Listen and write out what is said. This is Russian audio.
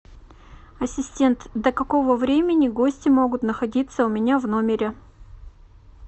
ассистент до какого времени гости могут находиться у меня в номере